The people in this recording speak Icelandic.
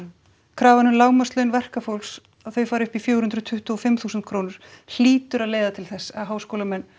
krafan um lágmarkslaun verkafólks að þau fari upp í fjögur hundruð tuttugu og fimm þúsund krónur hlýtur að leiða til þess að háskólamenn